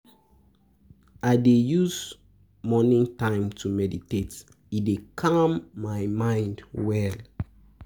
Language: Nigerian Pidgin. I dey use morning time to meditate, e dey calm my mind well.